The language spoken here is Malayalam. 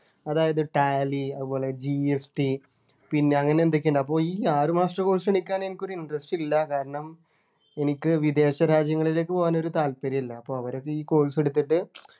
അതായത് tally അതുപോലെ GST പിന്നെ അങ്ങനെ എന്തൊക്കെയോ ഉണ്ട് അപ്പൊ ഈ ആറു മാസത്തെ course നു എനിക്കങ്ങന interest ഇല്ല കാരണം എനിക്ക് വിദേശ രാജ്യങ്ങളിലെക്ക് പോകാനൊരു താല്പര്യമില്ല അപ്പോ അവരൊക്കെ ഈ course എടുത്തിട്ട്